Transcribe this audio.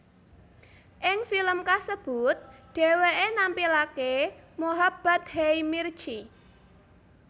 Ing film kasebut dheweké nampilaké Mohabbat hai mirchi